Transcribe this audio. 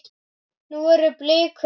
Nú eru blikur á lofti.